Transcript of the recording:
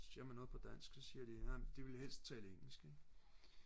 siger man noget på dansk så siger de ej de ville helst tale engelsk ikke